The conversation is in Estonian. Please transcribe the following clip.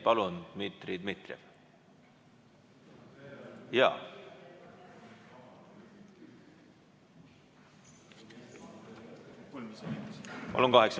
Palun, Dmitri Dmitrijev!